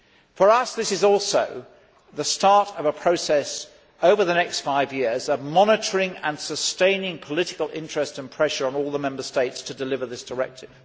For us, this is also the start of a process over the next five years of monitoring and sustaining political interest and pressure on all the Member States to deliver this directive.